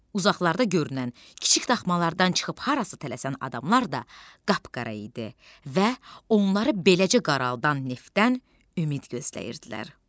Uzaqlarda görünən kiçik daxmalardan çıxıb harasa tələsən adamlar da qapqara idi və onları beləcə qaraldan neftdən ümid gözləyirdilər.